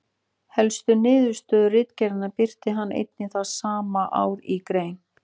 Helstu niðurstöðu ritgerðarinnar birti hann einnig það sama ár í grein.